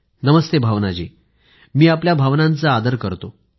नमस्ते भावनाजी मी आपल्या भावनांचा आदर करतो